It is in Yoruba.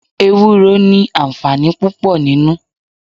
Ewúro ni àǹfààní púpò nínú.